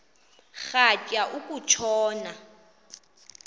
rhatya uku tshona